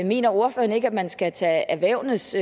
mener ordføreren ikke at man skal tage erhvervenes